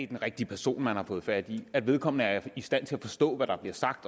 den rigtige person man har fået fat i at vedkommende er i stand til at forstå hvad der bliver sagt